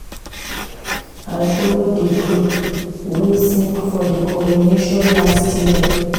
I folo di group wey sing for di coronation last year.